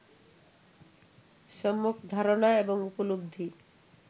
সম্মক ধারণা এবং উপলব্ধি